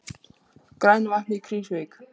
Grænavatn í Krýsuvík.